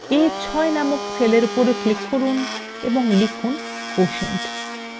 এখন a6 নামক cellএর উপর click করুন এবং লিখুন quotient